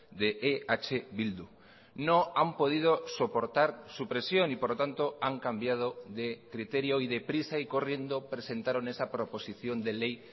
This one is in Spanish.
de eh bildu no han podido soportar su presión y por lo tanto han cambiado de criterio y deprisa y corriendo presentaron esa proposición de ley